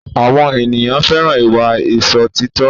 Àwọn ènìyàn fẹ́ràn ìwà Ìṣòtítọ́